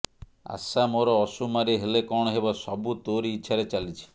ଆଶାମୋର ଅସୁମାରୀ ହେଲେ କଣ ହେବ ସବୁ ତୋରି ଇଚ୍ଛାରେ ଚାଲିଛି